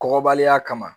Kɔkɔbaliya kama